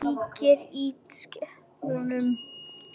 Kíkir í spegil á baðinu.